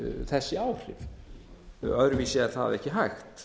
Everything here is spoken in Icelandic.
þessi áhrif öðruvísi er það ekki hægt